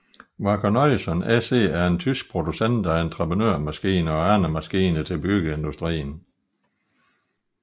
Wacker Neuson SE er en tysk producent af entreprenørmaskiner og andre maskiner til byggeindustrien